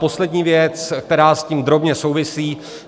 Poslední věc, která s tím drobně souvisí.